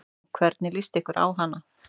Hvernig lýst þér á hana?